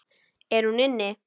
Er hún inni?